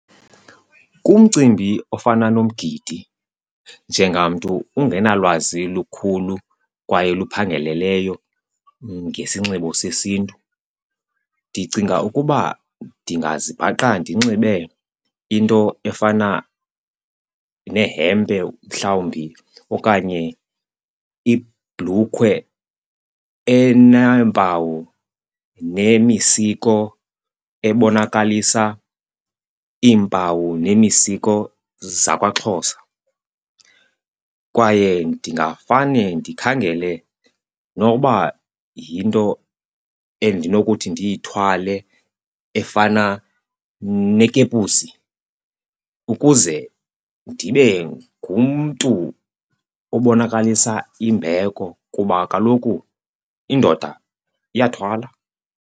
Kumcimbi ofana nomgidi njengamntu ungenalwazi lukhulu kwaye luphangaleleyo ngesinxibo sesiNtu, ndicinga ukuba ndingazibhaqa ndinxibe into efana nehempe mhlawumbi okanye ibhlukhwe eneempawu nemisiko ebonakalisa iimpawu nemisiko zakwaXhosa. Kwaye ndingafane ndikhangele noba yinto endinokuthi ndiyithwale efana nekepusi ukuze ndibe ngumntu obonakalisa imbeko kuba kaloku indoda iyathwala.